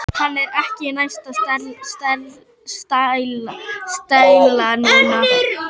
Hann er ekki með neina stæla núna.